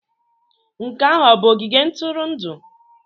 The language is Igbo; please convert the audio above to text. Nke ahụ ọ bụ ogige ntụrụndụ?